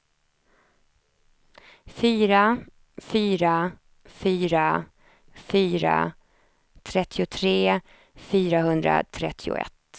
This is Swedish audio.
fyra fyra fyra fyra trettiotre fyrahundratrettioett